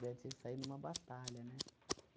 Daí tinha que sair numa batalha, né?